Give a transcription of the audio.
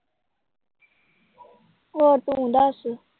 ਹੋਰ ਤੂੰ ਦੱਸ।